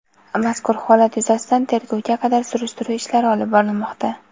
Mazkur holat yuzasidan tergovga qadar surishtiruv ishlari olib borilmoqda.